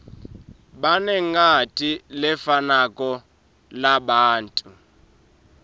banengati lefanako labantfu